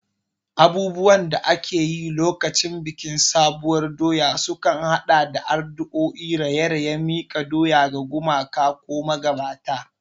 Abubuwan da ake yi lokacin bikin sabuwar doya sukan haɗa da addu'o'i, raye-raye, miƙa doya ga gumaka ko magabata.